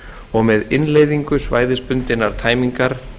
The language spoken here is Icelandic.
og með innleiðingu svæðisbundinnar tæmingar